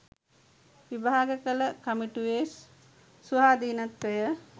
විභාග කළ කමිටුවේ ස්වාධීනත්වය